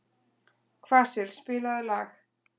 Kvasir, spilaðu lag.